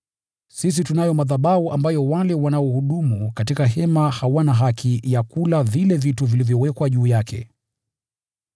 Sisi tunayo madhabahu ambayo wale wanaohudumu katika hema hawana haki ya kula vile vitu vilivyowekwa juu yake.